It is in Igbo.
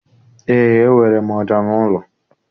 Eé, enwere m ọja n'ụlọ.